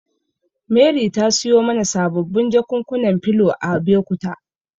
Mary ta siyo mana sababbin jakunkunan filo a Abekuta.